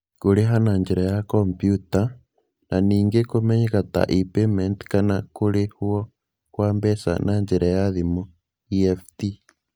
Kũrĩha na njĩra ya kompiuta, na ningĩ kũmenyeka ta e-payment kana kũrĩhũo kwa mbeca na njĩra ya thimũ (EFT).